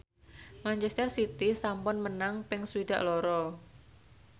manchester city sampun menang ping swidak loro